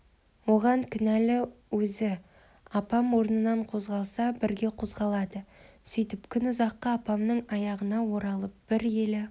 оған кінәлі өзі апам орнынан қозғалса бірге қозғалады сөйтіп күн ұзаққа апамның аяғына оралып бір елі